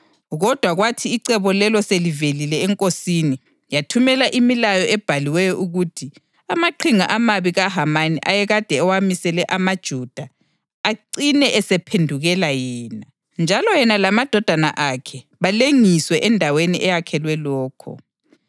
Kodwa kwathi icebo lelo selivelile enkosini, yathumela imilayo ebhaliweyo ukuthi amaqhinga amabi kaHamani ayekade ewamisele amaJuda acine esephendukela yena, njalo yena lamadodana akhe balengiswe endaweni eyakhelwe lokho.